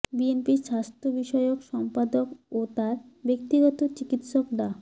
বিএনপির স্বাস্থ্য বিষয়ক সম্পাদক ও তার ব্যক্তিগত চিকিৎসক ডা